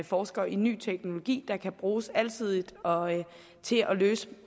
forsker i ny teknologi der kan bruges alsidigt og til at løse